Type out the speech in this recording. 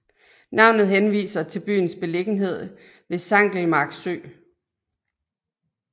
Navnet henviser til byens beliggenhed ved Sankelmark Sø